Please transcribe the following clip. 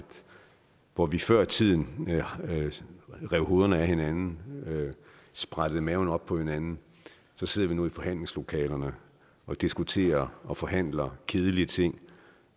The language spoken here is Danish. hvor vi før i tiden rev hovedet af hinanden sprættede maven op på hinanden så sidder vi nu i forhandlingslokalerne og diskuterer og forhandler kedelige ting